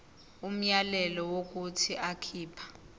umyalelo wokuthi akhipha